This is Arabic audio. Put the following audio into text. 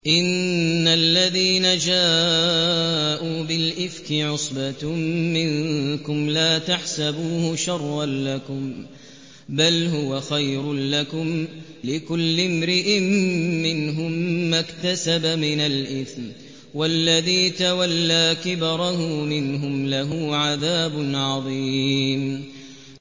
إِنَّ الَّذِينَ جَاءُوا بِالْإِفْكِ عُصْبَةٌ مِّنكُمْ ۚ لَا تَحْسَبُوهُ شَرًّا لَّكُم ۖ بَلْ هُوَ خَيْرٌ لَّكُمْ ۚ لِكُلِّ امْرِئٍ مِّنْهُم مَّا اكْتَسَبَ مِنَ الْإِثْمِ ۚ وَالَّذِي تَوَلَّىٰ كِبْرَهُ مِنْهُمْ لَهُ عَذَابٌ عَظِيمٌ